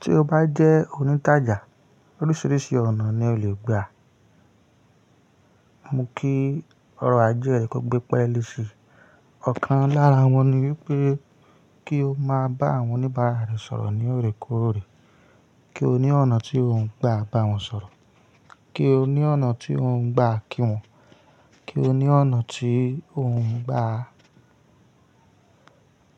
Tí o bá jẹ́ onítajà, oríṣiríṣi ọ̀nà ni o le gba. Mo kí ọrọ̀ ajé rẹ kó gbẹ́pẹ́lé sí í. Ọ̀kan lára wọn ni wípé kí o máa bá àwọn oníbàárà rẹ sọ̀rọ̀ ní òrèkóòrè, kí o ní ọ̀nà tí ó ń gba bá wọn sọ̀rọ̀, kí o ní ọ̀nà tí ó ń gba kí wọn, kí o ní ọ̀nà tí ó ń gba